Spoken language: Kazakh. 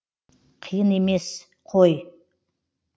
қиын емес қой